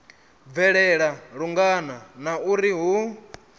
bvelela lungana na uri hu